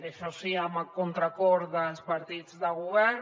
això sí a contracor dels partits de govern